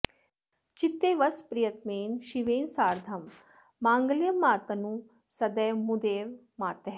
चित्ते वस प्रियतमेन शिवेन सार्धं माङ्गल्यमातनु सदैव मुदैव मातः